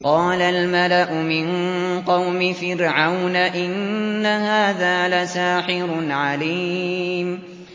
قَالَ الْمَلَأُ مِن قَوْمِ فِرْعَوْنَ إِنَّ هَٰذَا لَسَاحِرٌ عَلِيمٌ